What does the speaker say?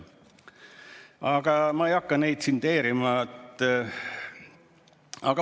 Aga ma ei hakka neid siin tsiteerima.